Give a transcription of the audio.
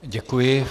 Děkuji.